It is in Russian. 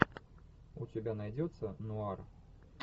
у тебя найдется нуар